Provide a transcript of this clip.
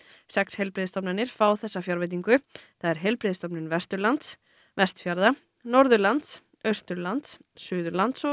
sex heilbrigðisstofnanir fá þessa fjárveitingu það er Heilbrigðisstofnun Vesturlands Vestfjarða Norðurlands Austurlands Suðurlands og